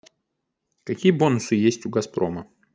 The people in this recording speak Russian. какие бонусы есть у газпрома